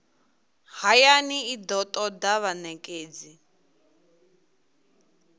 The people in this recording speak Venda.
hayani i do toda vhanekedzi